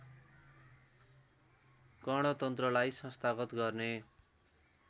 गणतन्त्रलाई संस्थागत गर्ने